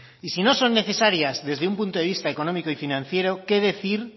y si no son necesarias desde un punto de vista económico y financiero qué decir